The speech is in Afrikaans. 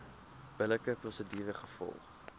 billike prosedure gevolg